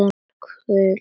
Fuglinn er hvítur.